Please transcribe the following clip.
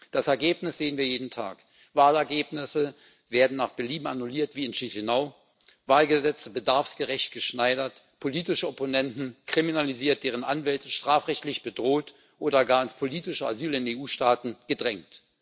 Das Ergebnis sehen wir jeden Tag Wahlergebnisse werden wie in Chișinău nach Belieben annulliert, Wahlgesetze bedarfsgerecht geschneidert, politische Opponenten kriminalisiert, deren Anwälte strafrechtlich bedroht oder gar ins politische Asyl in EU Staaten gedrängt.